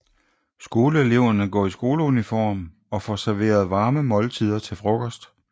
Skoleeleverne går i skoleuniform og får serveret varme måltider til frokost